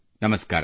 ನಮಸ್ಕಾರ